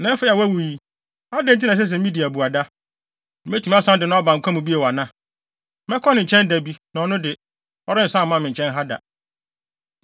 Na afei a wawu yi, adɛn nti na ɛsɛ sɛ midi abuada? Metumi asan de no aba nkwa mu bio ana? Mɛkɔ ne nkyɛn da bi, na ɔno de, ɔrensan mma me nkyɛn ha da.”